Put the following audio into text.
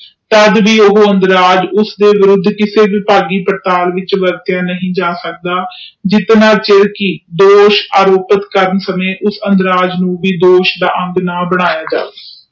ਤਦ ਵੀ ਉਹ ਅੰਦਰਾਜ ਕਿਸੇ ਵੀ ਚੀਜ ਲਾਇ ਵਰਤਿਆ ਨਹੀਂ ਜਾ ਸਕਦਾ ਜੋ ਦੋਸ਼ ਆਰੋਪਿਤ ਕਰ ਸਕੇ ਦੋਇਸ਼ ਦਾ ਅੰਗ ਨਾ ਬੰਮੀਆਂ ਜਾਵੇ